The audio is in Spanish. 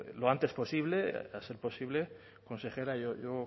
lo antes posible a ser posible consejera yo